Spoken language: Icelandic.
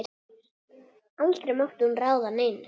Aldrei mátti hún ráða neinu.